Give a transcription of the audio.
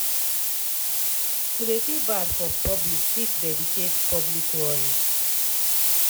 to de feel bad for public fit dedicate public worry.